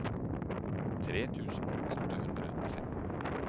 tre tusen åtte hundre og fem